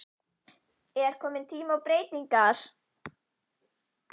Er komin tími á breytingar?